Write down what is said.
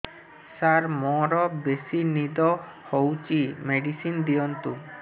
ସାର ମୋରୋ ବେସି ନିଦ ହଉଚି ମେଡିସିନ ଦିଅନ୍ତୁ